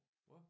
Hvad?